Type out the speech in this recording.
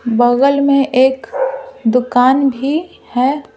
बगल में एक दुकान भी है ।